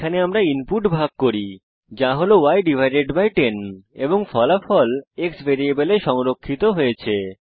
এখানে আমরা ইনপুট ভাগ করি যা হল ই10 এবং ফলাফল x ভ্যারিয়েবলে সংরক্ষিত হয়েছে